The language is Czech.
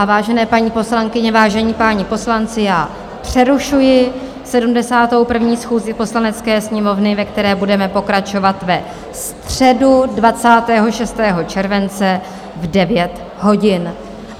A vážené paní poslankyně, vážení páni poslanci, já přerušuji 71. schůzi Poslanecké sněmovny, ve které budeme pokračovat ve středu 26. července v 9 hodin.